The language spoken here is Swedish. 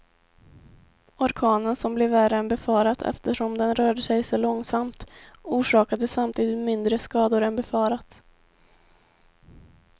Orkanen som blev värre än befarat eftersom den rörde sig så långsamt, orsakade samtidigt mindre skador än befarat.